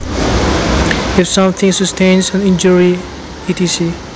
If something sustains an injury etc